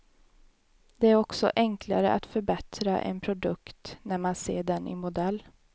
Det är också enklare att förbättra en produkt när man ser den i modell.